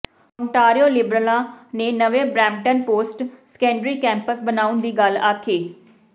Ontario ਲਿਬਰਲਾਂ ਨੇ ਨਵੇਂ ਬਰੈਂਪਟਨ ਪੋਸਟ ਸੈਕੰਡਰੀ ਕੈਂਪਸ ਬਣਾਉਣ ਦੀ ਗੱਲ ਆਖੀ